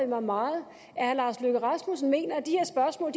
mig meget at herre lars løkke rasmussen mener at de her spørgsmål